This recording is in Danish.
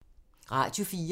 Radio 4